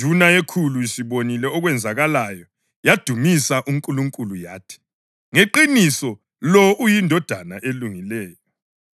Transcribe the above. Induna yekhulu isibonile okwenzakeleyo yadumisa uNkulunkulu yathi, “Ngeqiniso lo ubeyindoda elungileyo.”